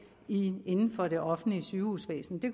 inden inden for det offentlige sygehusvæsen det